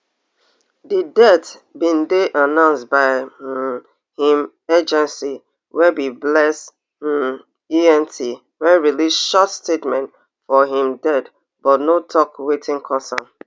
di death bin dey announced by um im agency wey be bless um ent wey release short statement for im death but no tok wetin cause am